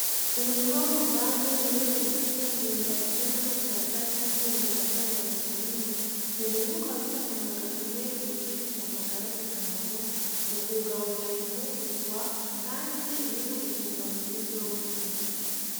Umurima w'uruvange urimwo itsina, imyumbati n'amashaza canke ibimera vy'amababi manini, uwo murima ukaba ufise akamaro gakomeye mugushigikira amagara y'umuryango, mukuwugaburira imfungurwa, kandi irimwo intungamubiri zose.